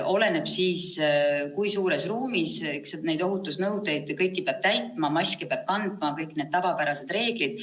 Oleneb, kui suures ruumis, ja kõiki ohutusnõudeid peab täitma: maski peab kandma, kõik need tavapärased reeglid.